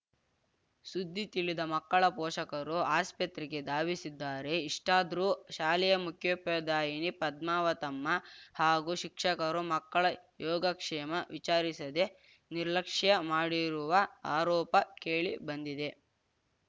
ಸುದ್ದಿ ತಿಳಿದ ಮಕ್ಕಳ ಪೋಷಕರು ಆಸ್ಪತ್ರೆಗೆ ದಾವಿಸಿದ್ದಾರೆ ಇಷ್ಟಾದರೂ ಶಾಲೆಯ ಮುಖ್ಯೋಪಾಧಾಯಿನಿ ಪದ್ಮಾವತಮ್ಮ ಹಾಗೂ ಶಿಕ್ಷಕರು ಮಕ್ಕಳ ಯೋಗಕ್ಷೇಮ ವಿಚಾರಿಸದೆ ನಿರ್ಲಕ್ಷ್ಯ ಮಾಡಿರುವ ಆರೋಪ ಕೇಳಿಬಂದಿದೆ